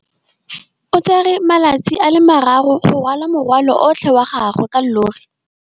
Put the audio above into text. O tsere malatsi a le marraro go rwala morwalo otlhe wa gagwe ka llori.